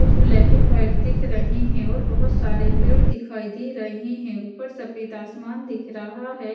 कुछ black and white दिख रहे हैं और बहुत सारे पेड़ दिखाई दे रहे हैं ऊपर सफेद आसमान दिख रहा है।